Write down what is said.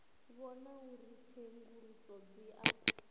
vhona uri tsenguluso dzi a